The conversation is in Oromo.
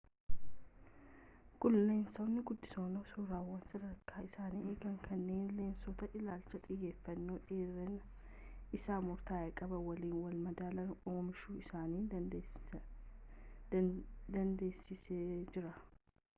kuni leensonni guddisoon suuraawwan sadarkaa isaanii eegan kanneen lensoota ilaalcha xiyyeefanno dheerinni isaa murtaa'e qaban waliin walmadaalan oomishuu isaan dandeessiseejira